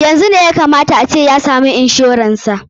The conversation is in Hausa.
Yanzu ne ya ka mata a ce ya samu inshoran sa.